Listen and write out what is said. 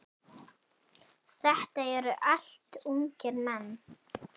Þetta eru allt ungir menn.